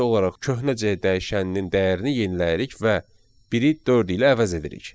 Sadəcə olaraq köhnə C dəyişəninin dəyərini yeniləyirik və biri dörd ilə əvəz edirik.